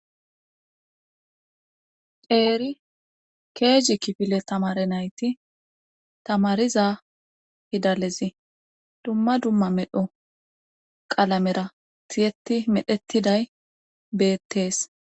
eeri keeji kifile tamare nayti tamariza fidalezi dumma dumma medho qalamera tiyeti medhetiday beettees